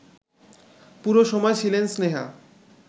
পুরো সময় ছিলেন স্নেহা